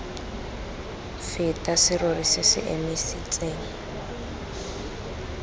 feta serori se se emisitseng